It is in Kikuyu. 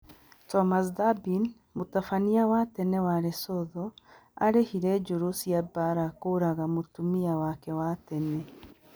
Thomas Thabane: Mũtabania wa tene wa Lesotho 'aarĩhire njũru cia mbaara kũũraga mũtumia wake wa tene'